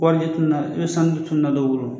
Warijɛ tununa i bɛ sanu dɔ tununa dɔw bolo.